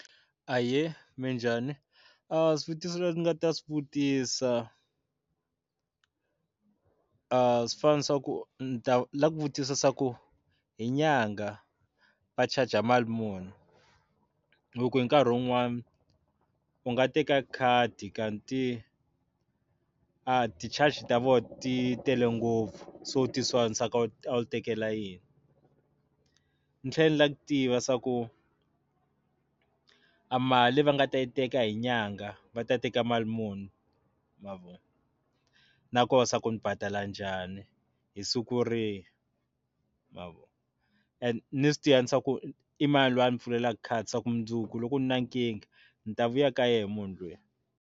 Ahee minjhani a swivutiso leswi ndzi nga ta swi vutisa a swi fni swa ku ndzi lava ku vutisa ku hi nyangha va charger mali muni hi ku hi nkhari un'wani u nga teka khadi kanti a ti charge ta vona ti tele ngopfu se u ti sola ku se a wu tekela yini ndzi thlela ndzi lava ku tiva swa ku a mali va nga ta yi teka hi nyangha va ta teka mali muni mavona nakoho se ndzi badala njhani hi siku rihi mavona ene ni swi tiva swa ku imani loyi a ndzi pfulelaka khadi swaku mundzuku loko ndzi ri na nkingha ndzi ta vuya ka yena mhunu luya.